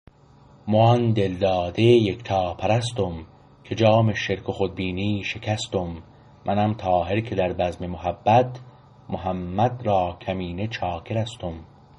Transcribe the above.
مو آن دل داده یکتا پرستم که جام شرک و خود بینی شکستم منم طاهر که در بزم محبت محمد را کمینه چاکرستم